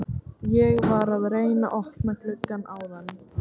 Ég var að reyna að opna gluggann áðan.